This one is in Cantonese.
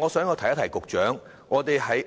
我想告訴局長，